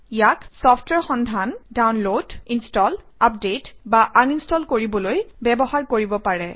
ইয়াক চফট্ৱেৰ সন্ধান download install update বা আনইনষ্টল কৰিবলৈ ব্যৱহাৰ কৰিব পাৰে